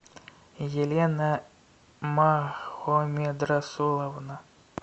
елена махомедрасуловна